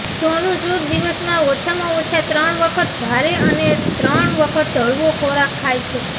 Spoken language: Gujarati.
સોનુ સૂદ દિવસમાં ઓછામાં ઓછા ત્રણ વખત ભારે અને ત્રણ વખત હળવો ખોરાક ખાય છે